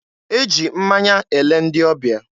E ji mmanya ele ndị ọbịa.